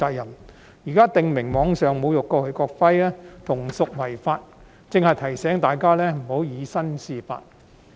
現在《條例草案》訂明在網上侮辱國旗和國徽同屬違法，正是提醒大家不要以身試法。